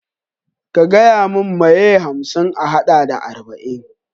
Ka gayamin mai ye hamsin a haɗa da arba'in?